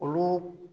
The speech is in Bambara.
Olu